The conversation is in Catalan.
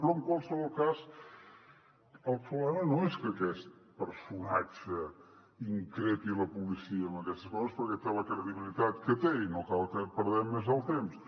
però en qualsevol cas el problema no és que aquest personatge increpi la policia amb aquestes coses perquè té la credibilitat que té i no cal que hi perdem més el temps